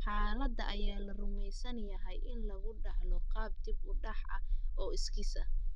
Xaaladda ayaa la rumeysan yahay in lagu dhaxlo qaab dib-u-dhac ah oo iskiis ah.